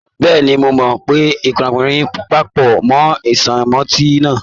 Bẹ́ẹ̀ni, mo pò iyanrìn papọ mọ sánmọ́ntì náà.